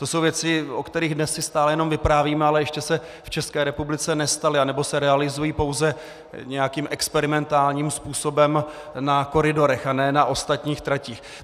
To jsou věci, o kterých dnes si stále jenom vyprávíme, ale ještě se v České republice nestaly, nebo se realizují pouze nějakým experimentálním způsobem na koridorech a ne na ostatních tratích.